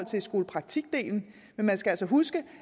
til skolepraktikdelen men man skal altså huske